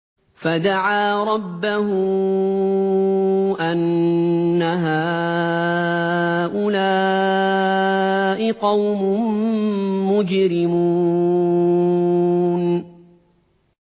فَدَعَا رَبَّهُ أَنَّ هَٰؤُلَاءِ قَوْمٌ مُّجْرِمُونَ